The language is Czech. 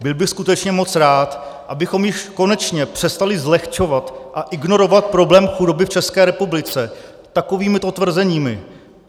Byl bych skutečně moc rád, abychom již konečně přestali zlehčovat a ignorovat problém chudoby v České republice takovýmito tvrzeními.